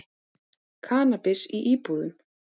Kannabis í íbúðum